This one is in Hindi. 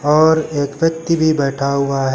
और एक व्यक्ति भी बैठा हुआ है।